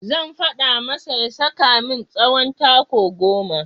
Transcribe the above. Zan faɗa masa ya saka min tsawon taku goma.